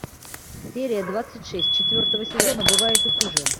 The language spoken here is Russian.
серия двадцать шесть четвертого сезона бывает и хуже